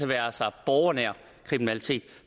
være sig borgernær kriminalitet